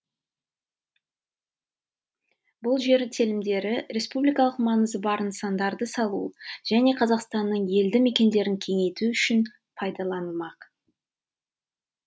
бұл жер телімдері республикалық маңызы бар нысандарды салу және қазақстанның елді мекендерін кеңейту үшін пайдаланылмақ